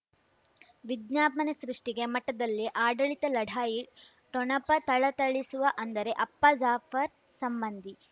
ವಿಜ್ಞಾಪನೆ ಸೃಷ್ಟಿಗೆ ಮಠದಲ್ಲಿ ಆಡಳಿತ ಲಢಾಯಿ ಠೊಣಪ ಥಳಥಳಿಸುವ ಅಂದರೆ ಅಪ್ಪ ಜಾಫರ್ ಸಂಬಂಧಿ